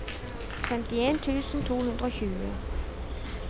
femtien tusen to hundre og tjue